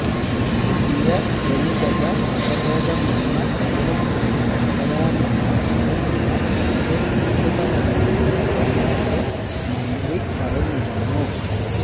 പുതിയ ജനിതക വകഭേദം വന്ന വൈറസിന് പകരാനുള്ള സാധ്യത വളരെ കൂടുതലാണെന്ന് ഇന്നലെ മന്ത്രി പറഞ്ഞിരുന്നു